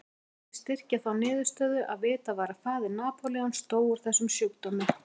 Það þótti styrkja þá niðurstöðu að vitað var að faðir Napóleons dó úr þessum sjúkdómi.